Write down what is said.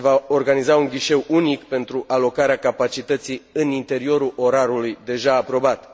CE. Se va organiza un ghișeu unic pentru alocarea capacității în interiorul orarului deja aprobat.